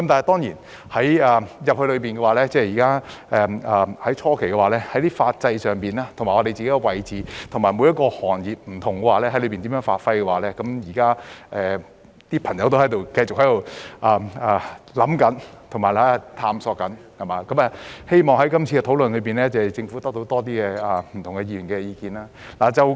當然，在初期進入大灣區時，有關法制、我們的位置及各行各業在當中如何發揮，現時很多朋友仍在思考及探索，希望政府可以在今次的討論得到更多不同議員的意見。